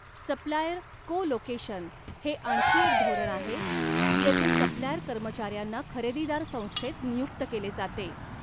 Supplier co location हे आणखी एक धोरण आहे जेथे सप्लायर कर्मचाऱ्यांना खरेदीदार संस्थेत नियुक्त केले जाते.